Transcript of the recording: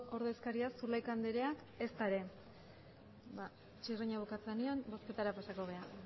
ordezkariak zulaika andreak ezta ere ba txirrina bukatzen denean bozketara pasako gara